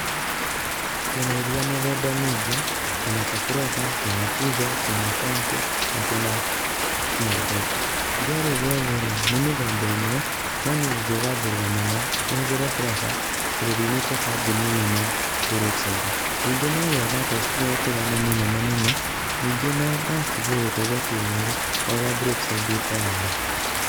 Twĩna iria mĩthemba mingĩ ta twĩna ta Fresha, twĩna Tuzo, twĩna County[cs[ na twĩna Kinangop [cs,]iria rĩrĩ rĩothe rĩ nĩmĩthemba ĩmwe no niĩ nĩngegwathĩrĩra mũno ũhuthĩre Fresha tondu riumĩte kambũni ĩmwe na Brookside ningĩ no rĩega otherwise tĩrĩtiganu mũnene mũno ningĩ nocigũgũteithia kĩmwĩrĩ ta ũria Brookside ĩkoragwo.